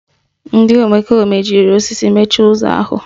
Ndị omekome jiri osisi mechie ụzọ ahụ